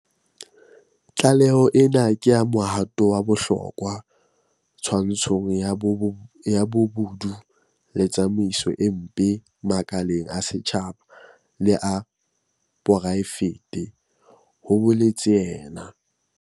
Tlaleho ena ke mohato wa bohlokwa twantshong ya bobodu le tsamaiso e mpe makaleng a setjhaba le a poraefete, ho boletse yena.